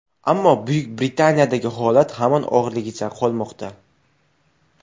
Ammo Buyuk Britaniyadagi holat hamon og‘irligicha qolmoqda.